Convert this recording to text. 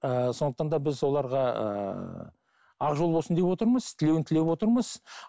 ыыы сондықтан да біз оларға ыыы ақ жол болсын деп отырмыз тілеуін тілеп отырмыз